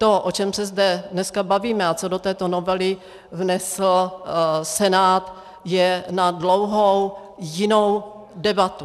To, o čem se zde dneska bavíme a co do této novely vnesl Senát, je na dlouhou jinou debatu.